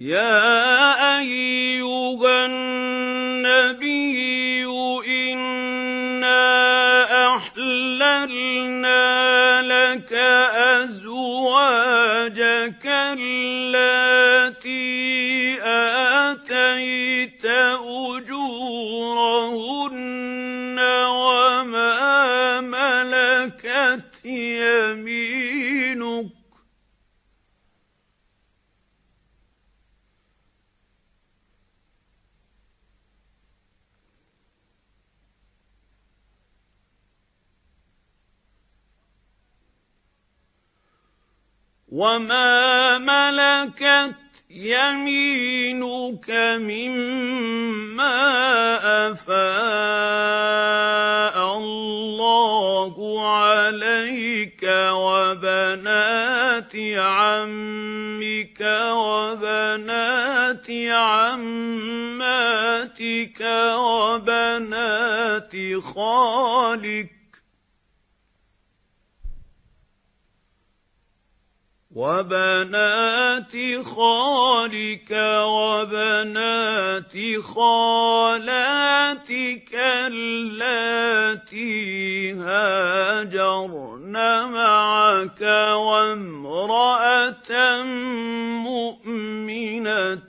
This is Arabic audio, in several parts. يَا أَيُّهَا النَّبِيُّ إِنَّا أَحْلَلْنَا لَكَ أَزْوَاجَكَ اللَّاتِي آتَيْتَ أُجُورَهُنَّ وَمَا مَلَكَتْ يَمِينُكَ مِمَّا أَفَاءَ اللَّهُ عَلَيْكَ وَبَنَاتِ عَمِّكَ وَبَنَاتِ عَمَّاتِكَ وَبَنَاتِ خَالِكَ وَبَنَاتِ خَالَاتِكَ اللَّاتِي هَاجَرْنَ مَعَكَ وَامْرَأَةً مُّؤْمِنَةً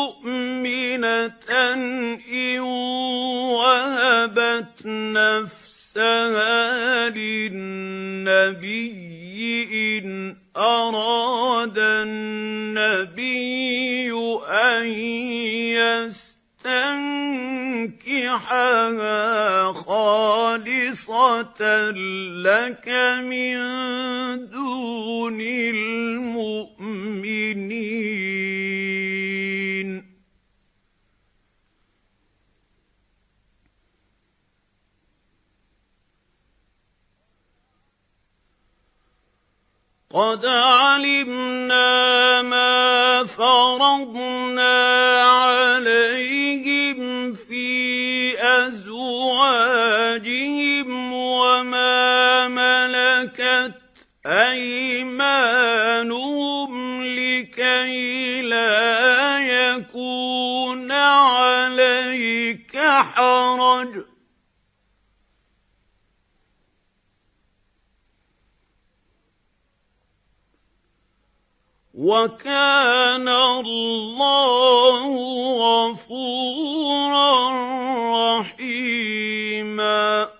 إِن وَهَبَتْ نَفْسَهَا لِلنَّبِيِّ إِنْ أَرَادَ النَّبِيُّ أَن يَسْتَنكِحَهَا خَالِصَةً لَّكَ مِن دُونِ الْمُؤْمِنِينَ ۗ قَدْ عَلِمْنَا مَا فَرَضْنَا عَلَيْهِمْ فِي أَزْوَاجِهِمْ وَمَا مَلَكَتْ أَيْمَانُهُمْ لِكَيْلَا يَكُونَ عَلَيْكَ حَرَجٌ ۗ وَكَانَ اللَّهُ غَفُورًا رَّحِيمًا